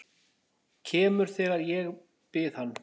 Kemur þegar ég bið hann.